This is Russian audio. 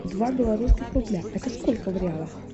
два белорусских рубля это сколько в реалах